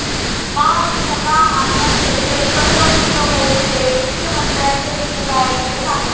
बा विठ्ठला, आता शेतकरी कर्जमुक्त होऊ दे, मुख्यमंत्र्यांचं विठुरायाकडे साकडं